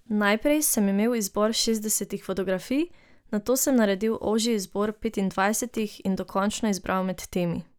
Najprej sem imel izbor šestdesetih fotografij, nato sem naredil ožji izbor petindvajsetih in dokončno izbral med temi.